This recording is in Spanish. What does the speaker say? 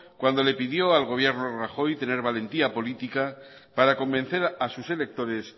cuando le pidió al gobierno de rajoy tener valentía política para convencer a sus electores